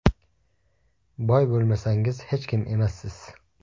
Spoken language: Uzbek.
Boy bo‘lmasangiz, hech kim emassiz.